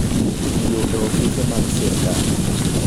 Tiyo e ofise mag sirkal.